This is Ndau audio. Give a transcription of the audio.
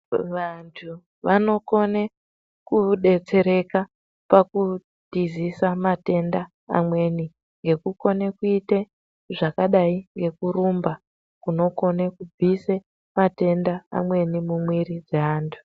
Vantu vanokone kudetsereka pakutizisa matenda mamweni ngekukone kuite zvakadai nekurumba kunokone kubvise matenda amweni mumwiri dzaantu.